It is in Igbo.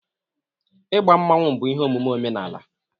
Igba Mmanwu bụ ihe omume omenala